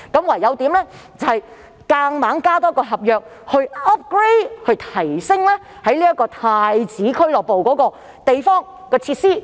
於是，他們只好多立一份合約，以 upgrade 即提升太子俱樂部的設施。